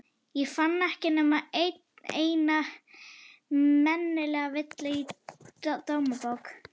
Ég fann ekki nema eina meinlega villu í Dómabók.